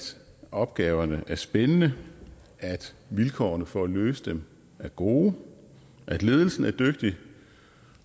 opgaverne er spændende at vilkårene for at løse dem er gode at ledelsen er dygtig